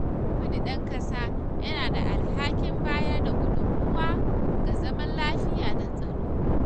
Kowanne ɗan ƙasa yana da alhakin bayar da gudunmawa ga zaman lafiya da tsaro.